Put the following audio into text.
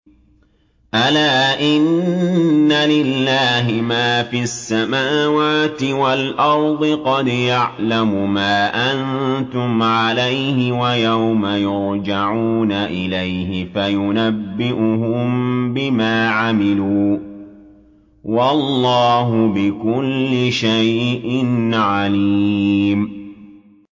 أَلَا إِنَّ لِلَّهِ مَا فِي السَّمَاوَاتِ وَالْأَرْضِ ۖ قَدْ يَعْلَمُ مَا أَنتُمْ عَلَيْهِ وَيَوْمَ يُرْجَعُونَ إِلَيْهِ فَيُنَبِّئُهُم بِمَا عَمِلُوا ۗ وَاللَّهُ بِكُلِّ شَيْءٍ عَلِيمٌ